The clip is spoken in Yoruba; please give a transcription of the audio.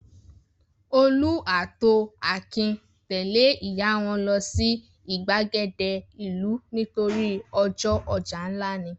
Olú ató Akin tẹ̀lé ìyá wọn lọ sí ìgbàgede ìlú nítorí ọjọ́ ọjà ńlá ni.